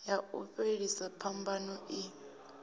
ya u fhelisa phambano i